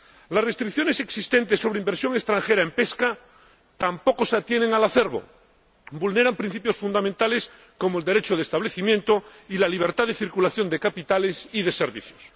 Las restricciones existentes sobre inversión extranjera en pesca tampoco se atienen al acervo vulneran principios fundamentales, como el derecho de establecimiento y la libertad de circulación de capitales y de servicios.